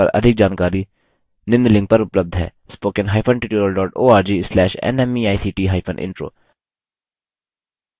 spoken hyphen tutorial dot org slash nmeict hyphen intro